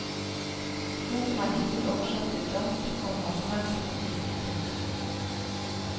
Boken er hittil oversatt til dansk, komma svensk og tysk. punktum